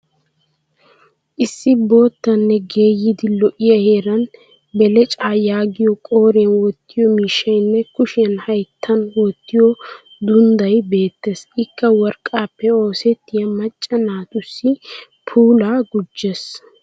Issi boottanne geeyyidi lo'iya heeran belecaa yaagiya qooriyan wottiyo miishshayinne kushiyan hayttan wottiyo dundday beettes. Ikka worqqaappe oosettiya macca naatussi puulaa gujjes.